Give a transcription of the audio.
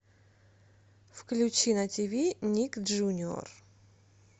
включи на тиви ник джуниор